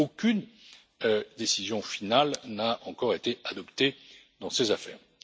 Aucune décision finale n'a encore été adoptée dans ces affaires.